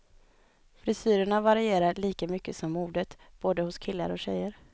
Frisyrerna varierar lika mycket som modet, både hos killar och tjejer.